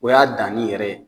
O y'a dani yɛrɛ ye.